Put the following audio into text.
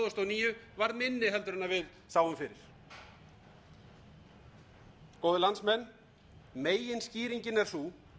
níu varð minni en við sáum fyrir góðir landsmenn meginskýringin er sú